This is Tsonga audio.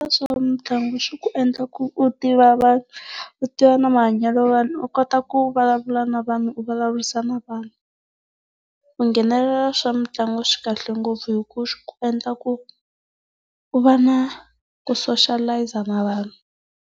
Swa mitlangu swi ku endla ku u tiva vanhu, u tiva na mahanyelo ya vanhu u kota ku vulavula na vanhu u vulavurisana na vanhu. Ku nghenelela swa mitlangu swi kahle ngopfu hi ku swi ku endla ku u va na ku soshalayiza na vanhu.